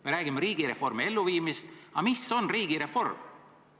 Me räägime riigireformi elluviimisest, aga mis on riigireform?